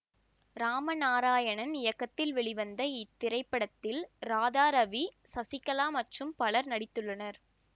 இராம நாராயணன் இயக்கத்தில் வெளிவந்த இத்திரைப்படத்தில் ராதா ரவி சசிகலா மற்றும் பலர் நடித்துள்ளனர்